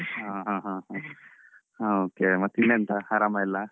ಹಾ ಹ okay ಮತ್ತೀನೆಂಥ ಆರಾಮ ಎಲ್ಲ.